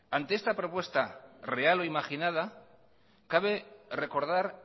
ante esta propuesta real o imaginada cabe recordar